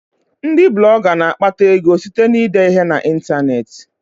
Ndị Blọga na-akpata ego site na ide ihe na ịntanetị